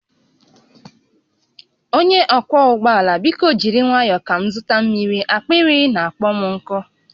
Onye ọkwọ ụgbọ ala biko jiri nwayọ ka m zụta mmiri, akpịrị na-akpọ m nkụ